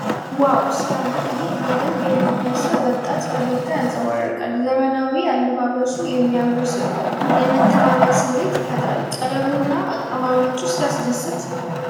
ዋው ሲያምር! ይህ በደንብ የለበሰ ወጣት ፈገግታ ያንጸባርቃል ። ዘመናዊው አለባበሱ የሚያምር ሲሆን የመተማመን ስሜት ይፈጥራል። ቀለሙ እና አቀማመጡ ሲያስደስት!